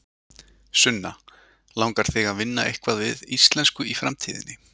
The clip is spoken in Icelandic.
Sunna: Langar þig að vinna eitthvað við íslensku í framtíðinni?